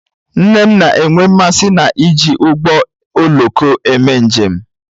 Nne m na-enwe mmasị n'iji ụgbọ oloko eme njem